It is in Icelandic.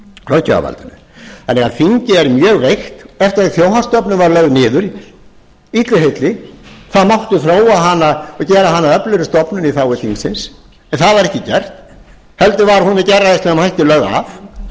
löggjafarvaldinu þingið er mjög veikt eftir að þjóðhagsstofnun var lögð niður illu heilli það mátti þróa hana og gera hana að öflugri stofnun í þágu þingsins en það var ekki gert heldur var hún með gerræðislegum hætti lögð af